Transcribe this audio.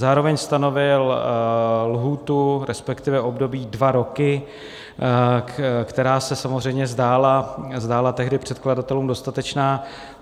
Zároveň stanovil lhůtu, respektive období dva roky, která se samozřejmě zdála tehdy předkladatelům dostatečná.